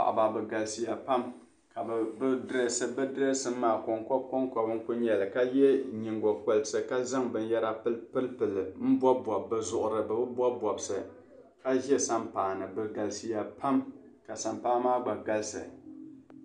Paɣaba, bɛ galisiya pam . ka bɛ dresi bi dreesin maa kon koba kon koba n kuli nyɛli. ka ye nyiŋgo kolisi. ka zaŋ bɛ yara n bɔb i bɔbi bɛ zuɣuri. bɛ bi bɔb bɔbsi ka ʒɛ san paani. bɛ galisiya pam